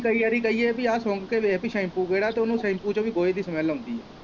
ਕਈ ਵਾਰੀ ਕਹੀਏ ਭੀ ਆਹ ਸੁੰਘ ਕੇ ਵੇਖ ਕਿ ਸੈਪੂ ਕਿਹੜਾ ਤੇ ਉਨੂੰ ਸੈਪੂ ਚੋਂ ਵੀ ਗੋਹੇ ਦੀ ਸਮੈਲ ਆਉਂਦੀ ਐ।